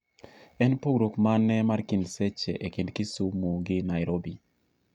en pogruok mane mar seche e kind kisumiu gi nairobi